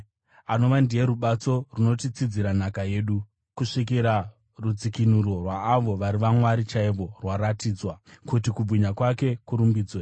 anova ndiye rubatso runotitsidzira nhaka yedu kusvikira rudzikinuro rwaavo vari vaMwari chaivo rwaratidzwa, kuti kubwinya kwake kurumbidzwe.